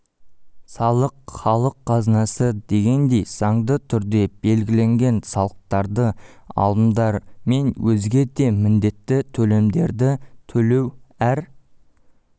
салық халық қазынасы дегендей заңды түрде белгіленген салықтарды алымдар мен өзге де міндетті төлемдерді төлеу әр